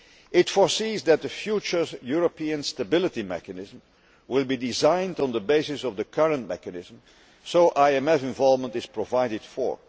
It foresees that the future European Stability Mechanism will be designed on the basis of the current mechanism, so IMF involvement is provided for.